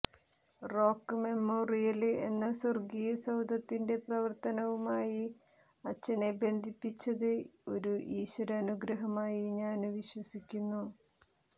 rock memorial എന്ന സ്വര്ഗ്ഗീയ സൌധത്തിന്റെ പ്രവര്ത്തനവുമായി അച്ഛനെ ബന്ധിപ്പിച്ചത് ഒരു ഈശ്വരനുഗ്രഹമായി ഞാന് വിശ്വസിക്കുന്നു